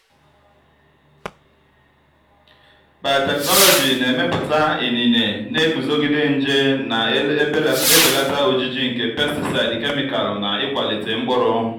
biotechnology na-emepụta inine na-eguzogide nje na-ebelata ojiji nke pesticides kemịkalụ na ịkwalite mkpụrụ.